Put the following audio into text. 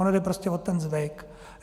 Ono jde prostě o ten zvyk.